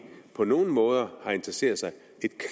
på nogen måde interesseret sig et